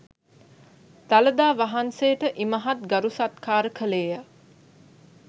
දළදා වහන්සේට ඉමහත් ගරු සත්කාර කළේ ය.